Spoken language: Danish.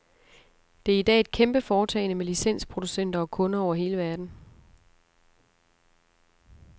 Det er i dag et kæmpeforetagende med licensproducenter og kunder over hele verden.